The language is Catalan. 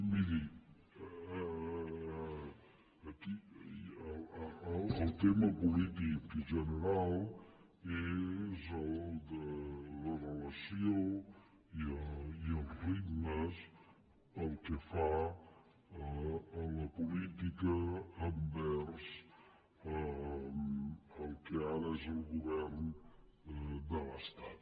miri el tema polític general és el de la relació i els ritmes pel que fa a la política envers al que ara és el govern de l’estat